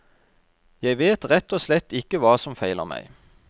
Jeg vet rett og slett ikke hva som feiler meg.